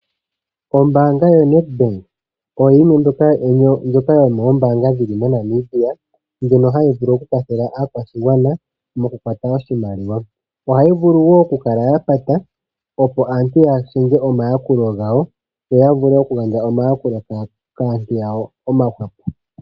Ombanga yo Nedbank oyo yimwe ndjoka mombanga dhono mo Namibia ndjono hayi vulu okukwathela aakwashigwana moku kukwata oshimaliwa , ohayi vulu wo okukala yapata opo aantu yashinge omayakulo gawo yoya vule okugandja omayakulo gawo kaantu yawo omakwawo.